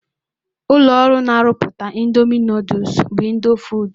Ụlọọrụ na-arụpụta Ịndoomi nọdụs bụ Ịndofood.